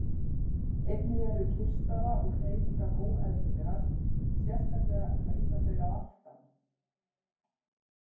Einnig eru kyrrstaða og hreyfingar óeðlilegar, sérstaklega riða þau að aftan.